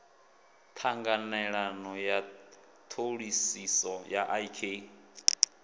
ṱhanganelano ya ṱhoḓisiso ya ik